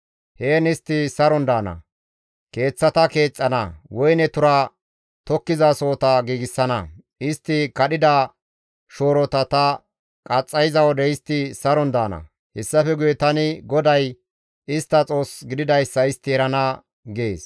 Heen istti saron daana; keeththata keexxana; woyne tura tokkizasohota giigsana; istti kadhida shoorota ta qaxxayiza wode istti saron daana; hessafe guye tani GODAY istta Xoos gididayssa istti erana» gees.